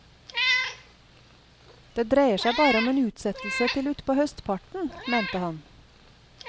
Det dreier seg bare om en utsettelse til utpå høstparten, mente han.